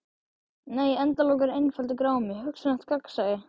Nei endalok eru einfaldur grámi: hugsanlegt gagnsæi.